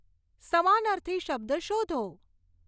સમાનર્થી શબ્દ શોધો